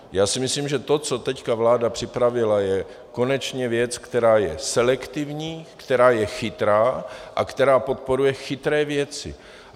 Já si myslím, že to, co teď vláda připravila, je konečně věc, která je selektivní, která je chytrá a která podporuje chytré věci.